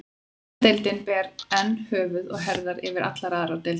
Enska deildin ber enn höfuð og herðar yfir allar aðrar deildir.